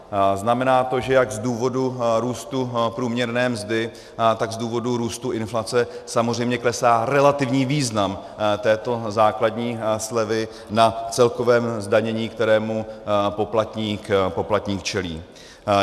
Znamená to, že jak z důvodu růstu průměrné mzdy, tak z důvodu růstu inflace samozřejmě klesá relativní význam této základní slevy na celkovém zdanění, kterému poplatník čelí.